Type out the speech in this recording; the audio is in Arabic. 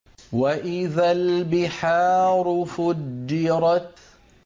وَإِذَا الْبِحَارُ فُجِّرَتْ